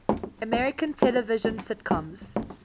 american television sitcoms